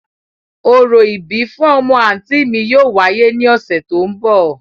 Orȯ ibi fun ọmọ anti mi yóò wáyè ni ọsẹ to n bọ.